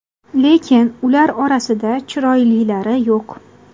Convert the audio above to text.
Lekin ular orasida chiroylilari yo‘q.